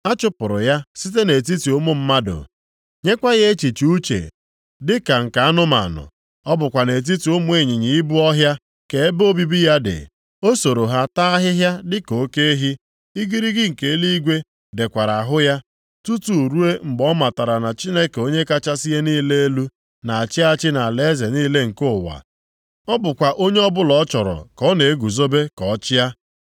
A chụpụrụ ya site nʼetiti ụmụ mmadụ, nyekwa ya echiche uche dịka nke anụmanụ. Ọ bụkwa nʼetiti ụmụ ịnyịnya ibu ọhịa ka ebe obibi ya dị, o soro ha taa ahịhịa dịka oke ehi. Igirigi nke eluigwe deekwara ahụ ya, tutu ruo mgbe ọ matara na Chineke Onye kachasị ihe niile elu na-achị achị nʼalaeze niile nke ụwa. Ọ bụkwa onye ọbụla ọ chọrọ ka ọ na-eguzobe ka ọ chịa.